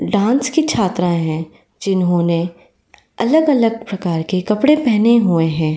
Dance की छात्राएं हैं। जिन्होंने अलग-अलग प्रकार के कपड़े पहने हुए हैं।